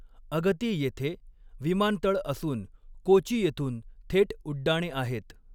अगती येथे विमानतळ असून कोची येथून थेट उड्डाणे आहेत.